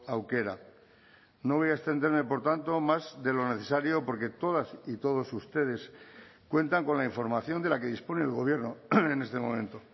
aukera no voy a extenderme por tanto más de lo necesario porque todas y todos ustedes cuentan con la información de la que dispone el gobierno en este momento